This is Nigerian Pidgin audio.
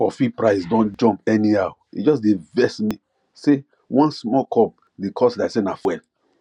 coffee price don jump anyhow e just dey vex me say one small cup dey cost like say na fuel